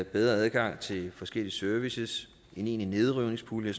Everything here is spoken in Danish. bedre adgang til forskellige services en egentlig nedrivningspulje